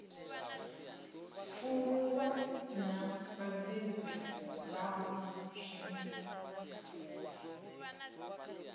pfuluwa na vhabebi vhawe zwino